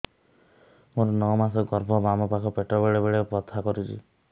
ମୋର ନଅ ମାସ ଗର୍ଭ ବାମ ପାଖ ପେଟ ବେଳେ ବେଳେ ବଥା କରୁଛି